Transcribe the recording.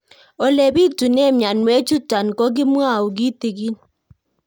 Ole pitune mionwek chutok ko kimwau kitig'ín